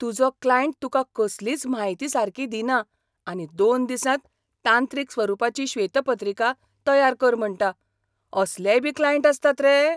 तुजो क्लायंट तुका कसलीच म्हायती सारकी दिना आनी दोन दिसांत तांत्रीक स्वरुपाची श्वेतपत्रिका तयार कर म्हणटा. असलेयबी क्लायंट आसतात रे?